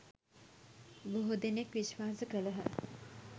බොහෝ දෙනෙක් විශ්වාස කළහ.